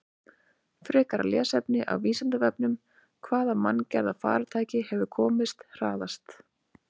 Frekara lesefni af Vísindavefnum: Hvaða manngerða farartæki hefur komist hraðast?